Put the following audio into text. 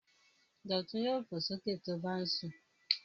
Dọ̀tun yóò fò sókè tí ó bá ń sùn.